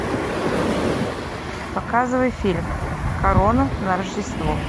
показывай фильм корона на рождество